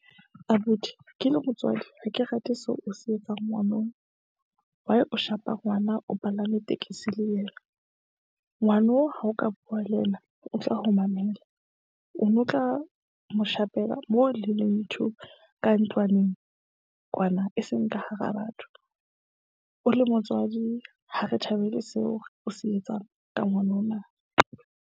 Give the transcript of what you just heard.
Abuti ke le motswadi, ha ke rate seo o se etsang ngwanong. Why o shapa ngwana o palame tekesi le yena. Ngwano ha o ka bua le yena, o tla ho mamela. O no tla mo shapela, mo le leng two ka ntlwaneng kwana, e seng ka hara batho. O le motswadi ha re thabele seo o se etsang ka ngwanona.